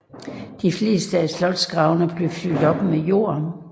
De fleste af slotgravene blev fyldt op med jord